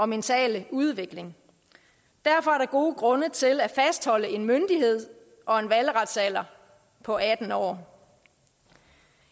mentale udvikling derfor er der gode grunde til at fastholde en myndigheds og valgretsalder på atten år